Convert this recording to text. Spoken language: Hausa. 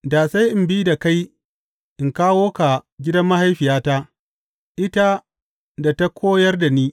Da sai in bi da kai in kawo ka gidan mahaifiyata, ita da ta koyar da ni.